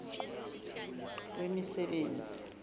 wemisebenzi